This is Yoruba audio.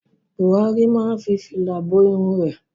Buhari máa fi fìlà bo irun rẹ̀.